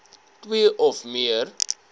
twee of meer